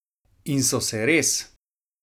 In so se res!